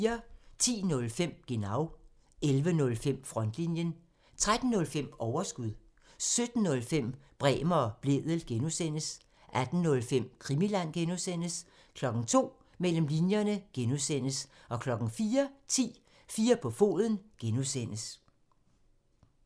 10:05: Genau (tir) 11:05: Frontlinjen (tir) 13:05: Overskud (tir) 17:05: Bremer og Blædel (G) (tir) 18:05: Krimiland (G) (tir) 02:00: Mellem linjerne (G) (tir) 04:10: 4 på foden (G) (tir)